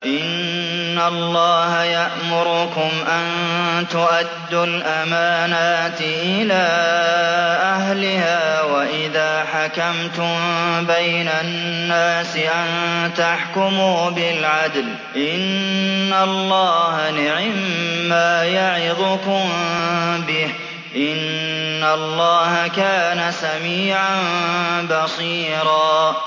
۞ إِنَّ اللَّهَ يَأْمُرُكُمْ أَن تُؤَدُّوا الْأَمَانَاتِ إِلَىٰ أَهْلِهَا وَإِذَا حَكَمْتُم بَيْنَ النَّاسِ أَن تَحْكُمُوا بِالْعَدْلِ ۚ إِنَّ اللَّهَ نِعِمَّا يَعِظُكُم بِهِ ۗ إِنَّ اللَّهَ كَانَ سَمِيعًا بَصِيرًا